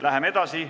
Läheme edasi.